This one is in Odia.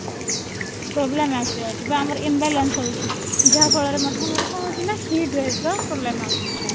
problem ଆସିଯାଉଛି ବା ଆମର imbalance ହଉଛି ଯାହା ଫଳରେ ମଧ୍ୟ ଆମର କଣ ହଉଛି heat ର problem ଆସୁଛି